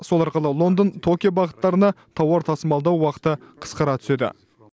сол арқылы лондон токио бағыттарына тауар тасымалдау уақыты қысқарады